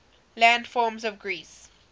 landforms of greece